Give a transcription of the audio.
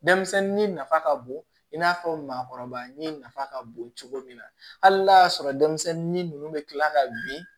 Denmisɛnnin nafa ka bon i n'a fɔ maakɔrɔba ɲɛ nafa ka bon cogo min na hali n'a y'a sɔrɔ denmisɛnnin ninnu bɛ kila ka bin